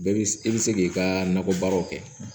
Bɛɛ bi i bi se k'i ka nakɔ baaraw kɛ